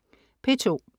P2: